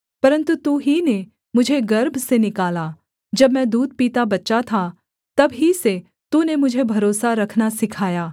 परन्तु तू ही ने मुझे गर्भ से निकाला जब मैं दूध पीता बच्चा था तब ही से तूने मुझे भरोसा रखना सिखाया